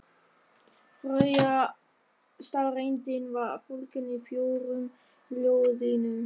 Þriðja staðreyndin var fólgin í fjórum ljóðlínum